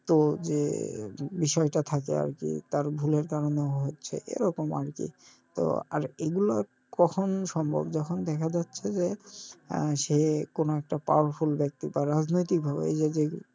তো যে বিষয়টা থাকে আরকি তার ভুলের কারনে হচ্ছে এরকম আরকি তো আর এগুলো কখন সম্ভব যখন দেখা যাচ্ছে যে আহ সে কোনো একটা powerful ভাবে বা রাজনৈতিকভাবে এইযে যে,